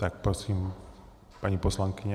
Tak prosím, paní poslankyně.